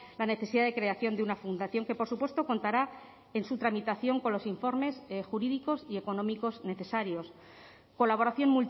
la necesidad de creación de una fundación que por supuesto contará en su tramitación con los informes jurídicos y económicos necesarios colaboración